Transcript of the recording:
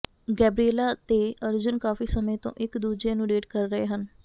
Gabriela ਤੇ ਅਰਜੁਨ ਕਾਫੀ ਸਮੇਂ ਤੋਂ ਇੱਕ ਦੂਜੇ ਨੂੰ ਡੇਟ ਕਰ ਰਹੇ ਹਨ